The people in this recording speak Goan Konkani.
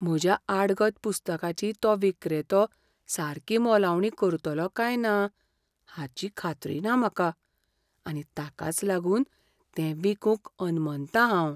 म्हज्या आडगत पुस्तकाची तो विक्रेतो सारकी मोलावणी करतलो काय ना हाची खात्री ना म्हाका, आनी ताकाच लागून तें विकूंक अनमनतां हांव.